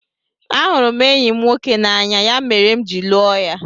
Ahụrụ m enyi m nwoke n'anya, ya mere m ji lụọ ya.